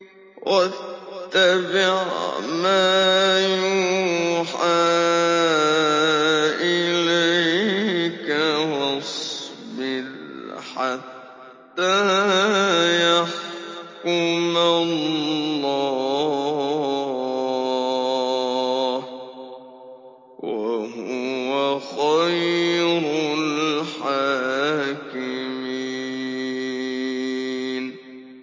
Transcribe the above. وَاتَّبِعْ مَا يُوحَىٰ إِلَيْكَ وَاصْبِرْ حَتَّىٰ يَحْكُمَ اللَّهُ ۚ وَهُوَ خَيْرُ الْحَاكِمِينَ